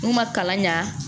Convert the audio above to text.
N'u ma kalan ɲa